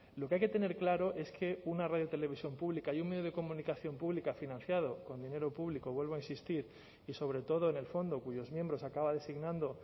lo que hay que tener claro es que una radiotelevisión pública y un medio de comunicación pública financiado con dinero público vuelvo a insistir y sobre todo en el fondo cuyos miembros acaba designando